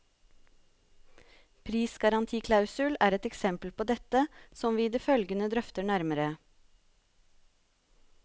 Prisgarantiklausul er et eksempel på dette, som vi i det følgende drøfter nærmere.